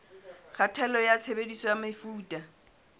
kgatello ya tshebediso ya mefuta